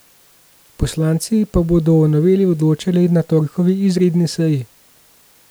Poslanci pa bodo o noveli odločali na torkovi izredni seji.